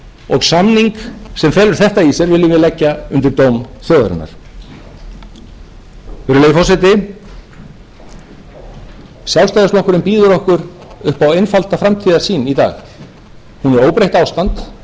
og samning sem felur þetta í sér viljum við leggja í dóm þjóðarinnar virðulegi forseti sjálfstæðisflokkurinn býður okkur upp á einfalda framtíðarsýn í dag